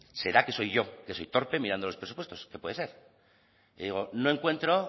será que soy yo que soy torpe mirando los presupuestos que puede ser y digo no encuentro